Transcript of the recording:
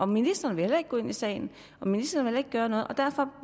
ministeren vil heller ikke gå ind i sagen ministeren vil ikke gøre noget og derfor